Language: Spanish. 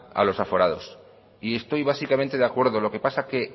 a los aforados y estoy básicamente de acuerdo lo que pasa es que